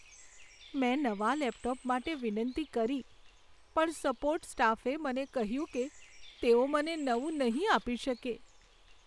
મેં નવા લેપટોપ માટે વિનંતી કરી પણ સપોર્ટ સ્ટાફે મને કહ્યું કે તેઓ મને નવું નહીં આપી શકે.